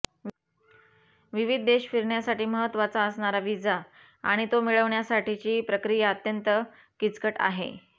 विविध देश फिरण्यासाठी महत्त्वाचा असणारा व्हिसा आणि तो मिळवण्यासाठीची प्रक्रिया अत्यंत किचकट आहे